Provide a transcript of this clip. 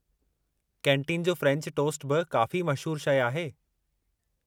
Canteen जो French toast बि काफ़ी मशहूरु शइ आहे।